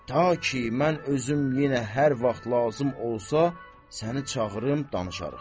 Ta ki, mən özüm yenə hər vaxt lazım olsa, səni çağırım, danışarıq.